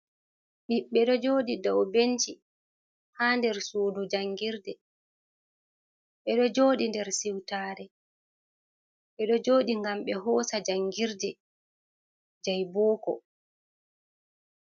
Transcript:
Ɓibbe ɗo jooɗi dow benci ha nder suudu jangirde. Ɓe ɗo joodi nder siwtaare, ɓe ɗo jooɗi ngam ɓe hoosa jangirde je booko.